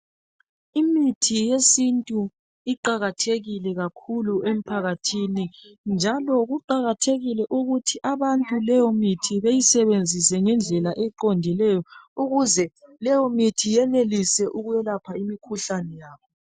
Imithi yesintu iqakathekile kakhulu emphakathini. Njalo kuqakathekile ukuthi abantu leyo mithi beyisenzise ngedlela eqondileyo ukuze leyo mithi yenelise ukwelapha imikhuhlane yabo.